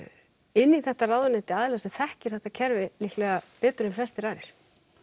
inn í þetta ráðuneyti aðila sem þekkir þetta kerfi líklega betur en flestir aðrir